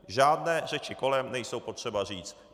Žádné řeči kolem nejsou potřeba říct.